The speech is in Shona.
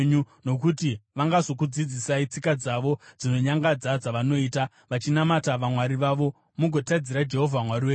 Nokuti vangazokudzidzisai tsika dzavo dzinonyangadza dzavanoita vachinamata vamwari wavo, mugotadzira Jehovha Mwari wenyu.